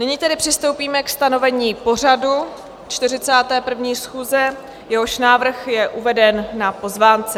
Nyní tedy přistoupíme ke stanovení pořadu 41. schůze, jehož návrh je uveden na pozvánce.